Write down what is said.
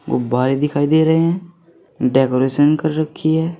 गुब्बारे दिखाई दे रहे हैं डेकोरेशन कर रखी है।